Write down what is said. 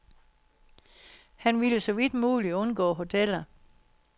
Han ville så vidt muligt undgå hoteller.